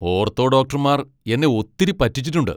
Ortho ഡോക്ടർമാർ എന്നെ ഒത്തിരി പറ്റിച്ചിട്ടുണ്ട്.